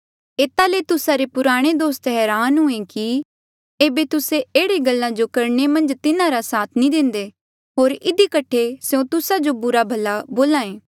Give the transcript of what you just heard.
एता ले तुस्सा रे पुराणे दोस्त हरान हुयें कि ऐबे तुस्से एह्ड़े गल्ला जो करणे मन्झ तिन्हारा साथ नी देंदे होर इधी कठे स्यों तुस्सा जो बुरा भला बोल्हा ऐें